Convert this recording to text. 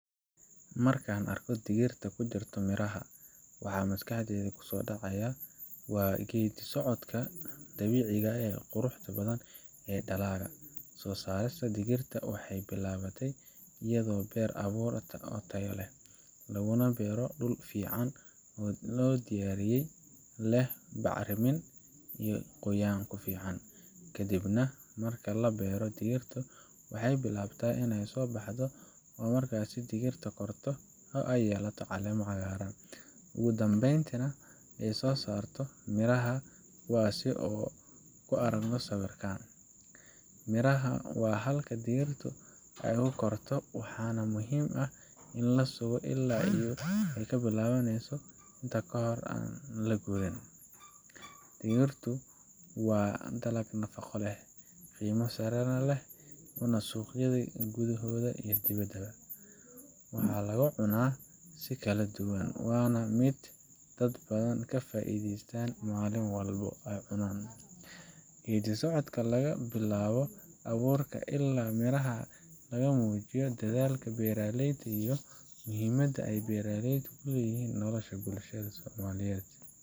Marka aan arko digirta ku jirta miraha, waxa maskaxdayda kusoo dhacaya waa geeddi socodka dabiiciga ah ee quruxda badan ee dalagga. Soo saarista digirta waxay bilaabataa iyadoo la beero abuur tayo leh, laguna beero dhul si fiican loo diyaariyey oo leh bacrimin iyo qoyaan ku filan. Kadib marka la beero, digirta waxay bilaabataa inay soo baxdo, oo marka ay dhirta korto ay yeelato caleemo cagaaran, ugu dambeyntiina ay soo saarto miraha kuwaasoo aynu ku aragno sawirka. Mirahaasi waa halka digirtu ku korto, waxaana muhiim ah in la sugo ilaa ay bilaabaneso intaa ka horaan la gurin. Digirtu waa dalag nafaqo leh, qiimo sare lehna u leh suuqyada gudaha iyo dibadda. Waxaa lagu cunaa si kala duwan, waana mid ay dad badan ka faa’iideystaan maalin walba ay cunan. Geeddisocodka laga soo bilaabo abuurka ilaa miraha laga muujiyo dadaalka beeraleyda iyo muhiimadda ay beeraleyntu u leedahay nolosha bulshada somaliyeed.